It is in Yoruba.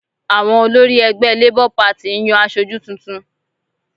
Àwọn olórí ẹgbẹ́ LABOUR PARTY ń yan aṣojú tuntun